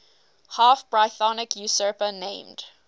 half brythonic usurper named